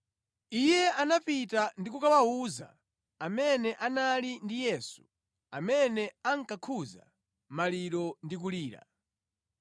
Iye anapita ndi kukawawuza amene anali ndi Yesu, amene ankakhuza maliro ndi kulira.